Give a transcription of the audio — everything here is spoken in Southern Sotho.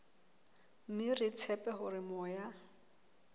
mme re tshepa hore moya